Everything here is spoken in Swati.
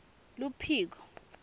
luphiko